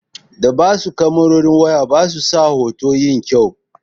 Da babu kamarorin waya basu sa hoto yin kyau.